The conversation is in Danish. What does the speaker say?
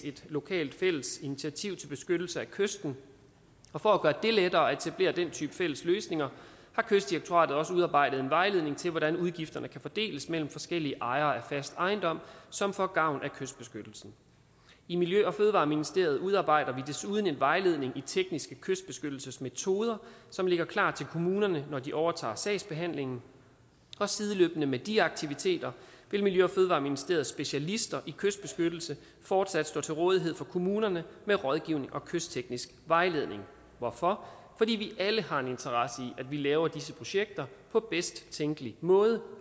et lokalt fælles initiativ til beskyttelse af kysten og for at gøre det lettere at etablere den type fælles løsninger har kystdirektoratet også udarbejdet en vejledning til hvordan udgifterne kan fordeles medlem forskellige ejere af fast ejendom som får gavn af kystbeskyttelsen i miljø og fødevareministeriet udarbejder vi desuden en vejledning i tekniske kystbeskyttelsesmetoder som ligger klar til kommunerne når de overtager sagsbehandlingen og sideløbende med de aktiviteter vil miljø og fødevareministeriets specialister i kystbeskyttelse fortsat stå til rådighed for kommunerne med rådgivning og kystteknisk vejledning hvorfor fordi vi alle har en interesse i at vi laver disse projekter på bedst tænkelig måde